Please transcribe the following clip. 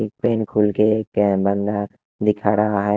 के कैमरा दिखा रहा है।